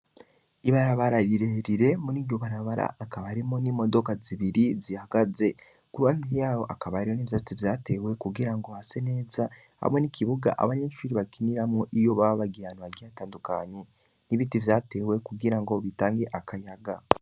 Ibarabara rirerire, muri iryo barabara, hakaba harimwo n'imodoka zibiri zihagaze; ku ruhande y'aho hakaba hari n'ivyatsi vyatewe kugira ngo hase neza, hamwe n'ikibuga abanyeshuri bakiniramwo, iyo baba bagiye ahantu hatandukanye; n'ibiti vyatewe kugira ngo bitange akayaga.